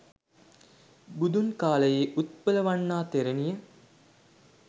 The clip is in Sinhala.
බුදුන් කාලයේ උත්පලවණ්ණා තෙරණිය